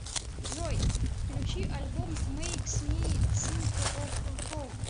джой включи альбом мэйкс ми синк оф хоум